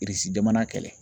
jamana kɛlɛ.